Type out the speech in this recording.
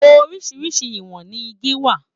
Oríṣiríṣi ìwọ̀n ní igi wà.